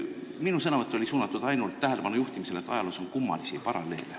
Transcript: Minu sõnavõtt oli suunatud ainult tähelepanu juhtimisele, et ajaloos on kummalisi paralleele.